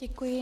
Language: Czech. Děkuji.